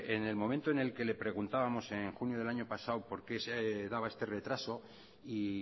en el momento en el que le preguntábamos en junio del año pasado por qué se daba este retraso y